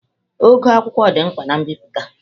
Ogo akwụkwọ dị mkpa na mbipụta.